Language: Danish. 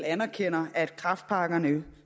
anerkender at kræftpakkerne